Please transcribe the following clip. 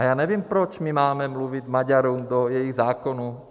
A já nevím proč my máme mluvit Maďarům do jejich zákonů.